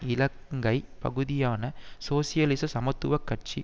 இலங்கை பகுதியான சோசியலிச சமத்துவ கட்சி